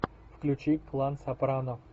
включи клан сопрано